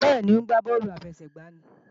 Bẹ́ẹ̀ni, ó ń gbá bọ́ọ̀lù àfẹsẹ̀gbá ní